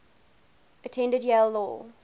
attended yale law